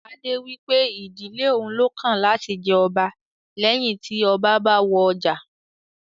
Adé wípé ìdílé òun lọ́kàn láti jẹ ọba leyin ti ọba bá wọ àjà